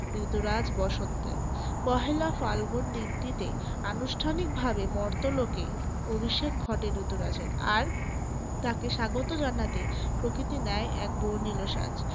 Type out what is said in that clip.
ঋতুরাজ বসন্তের। পহেলা ফালগুন দিনটিতে আনুষ্ঠানিকভাবে মর্তলোকে অভিষেক ঘটে ঋতুরাজের আর তাকে স্বাগত জানাতে প্রকৃতি নেয় এক বর্ণিল সাজ।